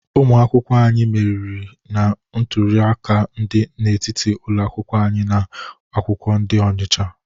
Ụmụ akwụkwọ anyị meriri na nrụrịtaụka dị n'etiti ụlọ akwụkwọ na ụlọ akwụkwọ dị n'Ọnịcha.